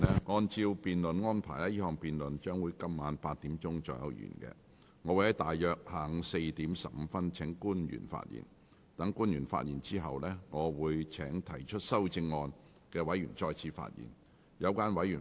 我會約於下午4時15分請官員發言。待官員發言後，我會請提出修正案的委員再次發言。